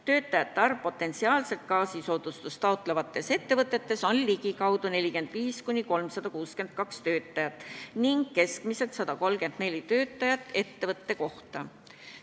Töötajate arv potentsiaalselt seda soodustust taotlevates ettevõtetes on umbes 45–362 töötajat, mis teeb keskmiselt 134 töötajat ettevõtte kohta.